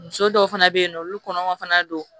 Muso dɔw fana bɛ yen nɔ olu kɔnɔ ma fana don